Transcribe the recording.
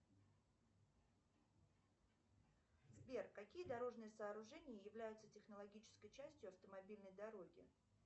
сбер какие дорожные сооружения являются технологической частью автомобильной дороги